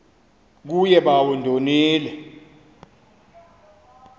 kuye bawo ndonile